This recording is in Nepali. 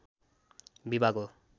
विभाग हो